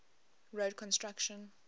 road construction